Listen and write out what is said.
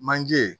Manje